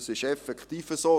das ist effektiv so.